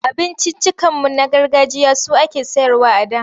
Abinciccikanmu na gargajiya su ake sayarwa a da.